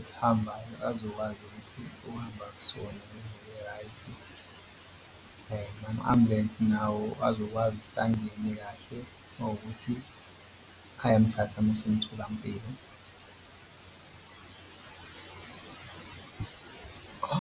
esihambayo bazokwazi ukuthi uhamba kusona ngendlela e-right, nama-ambulensi nawo azokwazi ukuthi angene kahle uma ukuthi ayamthatha amusa emtholampilo.